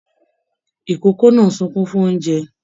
Ikòkò náà n sunkún fún oúnjẹ.